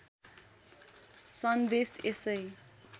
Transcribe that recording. सन्देश यसै